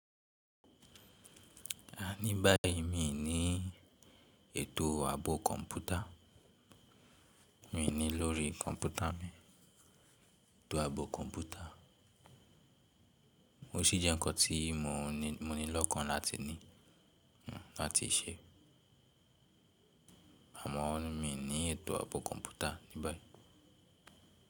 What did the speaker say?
A ní báyìí mi ní ètò ààbò kọ̀ǹpútà, mi ní lórí kọ̀ǹpútà mi, ètò ààbò kọ̀ǹpútà. Ó sì jẹ́ nǹkan tí mo ní lọ́kàn láti ní, láti ṣe. Àmọ́ mi ní ètò ààbò kọ̀ǹpútà ní báyìí.